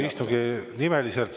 Aitäh!